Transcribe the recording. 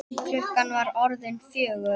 Klukkan var orðin fjögur.